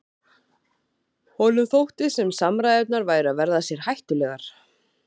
Honum þótti sem samræðurnar væru að verða sér hættulegar.